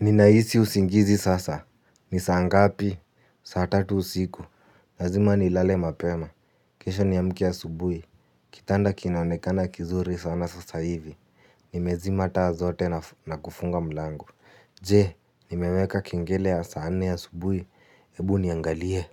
Ninahisi usingizi sasa. Ni saa ngapi. Saa tatu usiku. Lazima nilale mapema. Kesho niamke asubuhi. Kitanda kinaonekana kizuri sana sasa hivi. Nimezima taa zote na kufunga mlango. Je? Nimeweka kengele ya saa nne asubuhi. Ebu niangalie.